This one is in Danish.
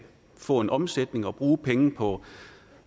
få en omsætning og bruge pengene på